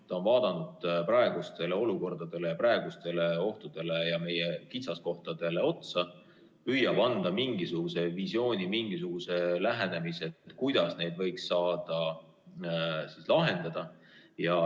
Ta on vaadanud praeguseid olukordi, praeguseid ohte ja meie kitsaskohti ning püüab anda mingisuguse visiooni, mingisuguse lähenemise, kuidas neid võiks saada lahendada.